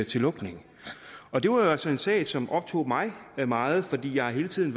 til lukning og det var jo altså en sag som optog mig meget fordi jeg hele tiden